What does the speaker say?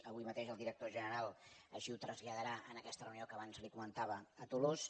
avui mateix el director general així ho traslladarà en aquesta reunió que abans li comentava a tolosa